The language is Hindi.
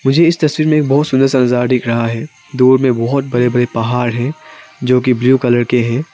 मुझे इस तस्वीर में बहुत सुंदर सुंदर नजारा दिख रहा है दूर में बहुत बड़े बड़े पहाड़ हैं जो की ब्लू कलर के हैं।